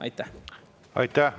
Aitäh!